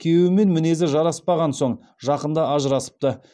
күйеуімен мінезі жараспаған соң жақында ажырасыпты